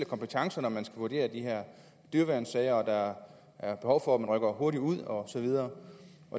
kompetencer når de her dyreværnssager og at der er behov for at der rykkes hurtigt ud og så videre